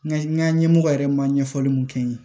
Nga n ka ɲɛmɔgɔ yɛrɛ ma ɲɛfɔli mun kɛ n ye